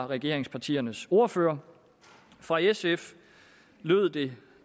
regeringspartiernes ordførere fra sf lød det